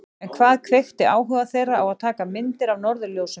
En hvað kveikti áhuga þeirra á að taka myndir af norðurljósum?